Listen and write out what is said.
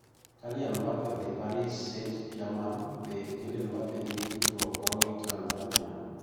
Kylian Mbappe odhi Paris St Germain be Kylian Mbappe nigi tudruok moro gi Tanzania?